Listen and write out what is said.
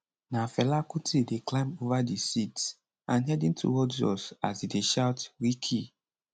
na fela kuti dey climb ova di seats and heading towards us as e dey shout rikki